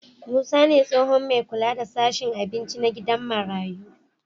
Musa ne tsohon me kula da sashen abinci na gidan marayu